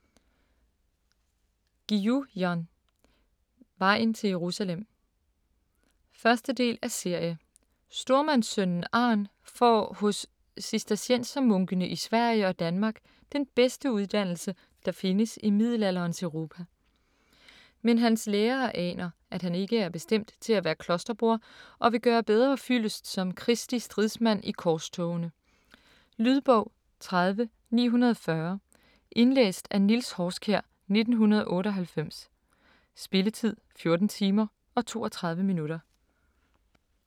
Guillou, Jan: Vejen til Jerusalem 1. del af serie. Stormandssønnen Arn får hos cisterciensermunkene i Sverige og Danmark den bedste uddannelse, der findes i middelalderens Europa. Men hans lærere aner, at han ikke er bestemt til at være klosterbroder og vil gøre bedre fyldest som Kristi stridsmand i korstogene. . Lydbog 30940 Indlæst af Niels Horskjær, 1998. Spilletid: 14 timer, 32 minutter.